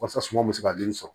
Wasa suma bɛ se ka den sɔrɔ